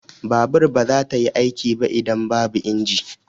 Babur ba za ta yi aiki ba idan babu inji.